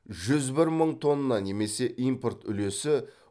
жүз бір мың тонна немесе импорт үлесі